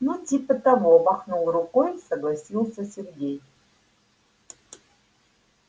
ну типа того махнул рукой согласился сергей